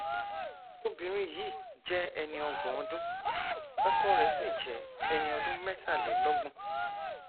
obìnrin yìí jẹ ẹni ọgbọn ọdún ọkọ rẹ sì jẹ ẹni ọdún mẹtàlélọgbọn